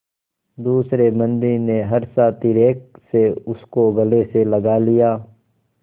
दूसरे बंदी ने हर्षातिरेक से उसको गले से लगा लिया